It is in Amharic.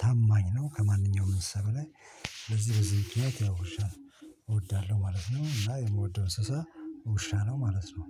ታማኝ ነው ከማንኛውም ሰብ ላይ። ለዚህ በዚህ ምክንያት ይወሻል እወዳለሁ ማለት ነው። እና የምወደው እንስሳ ውሻ ነው ማለት ነው